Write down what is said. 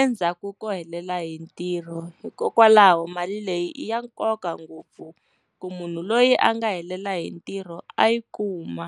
endzhaku ko helela hi ntirho. Hikokwalaho mali leyi i ya nkoka ngopfu ku munhu loyi a nga helela hi ntirho a yi kuma.